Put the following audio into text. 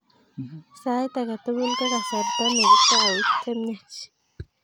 Sait age tugul ko kasarta ne kitou chemiach